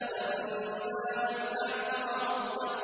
فَأَمَّا مَنْ أَعْطَىٰ وَاتَّقَىٰ